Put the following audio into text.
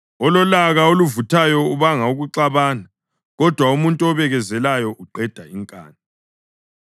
Ololaka oluvuthayo ubanga ukuxabana, kodwa umuntu obekezelayo uqeda inkani.